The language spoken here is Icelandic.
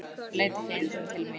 Leit ekki einu sinni til mín.